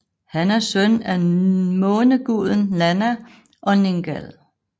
Han er søn af måneguden Nanna og Ningal